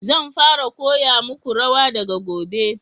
Zan fara koya muku rawa daga gobe